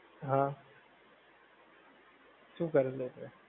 હા શું કર્યું લે તે